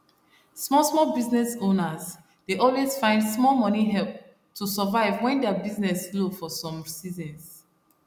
small small business owners dey always find small money help to survive when their business slow for some seasons